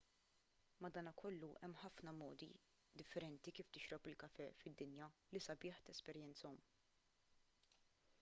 madankollu hemm ħafna modi differenti kif tixrob il-kafè fid-dinja li sabiħ tesperjenzahom